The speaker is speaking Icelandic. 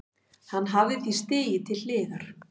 Hann hafi því stigið til hliðar